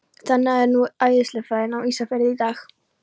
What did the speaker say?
Þannig er nú eðlisfræðin á Ísafirði í dag.